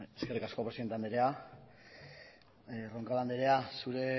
eskerrik asko presidente andrea roncal andrea zure